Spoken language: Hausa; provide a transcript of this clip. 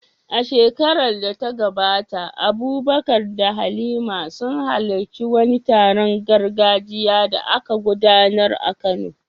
A shekarar da ta gabata, Abubakar da Halima sun halarci wani taron gargajiya da aka gudanar a Kano.